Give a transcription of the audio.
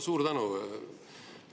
Suur tänu!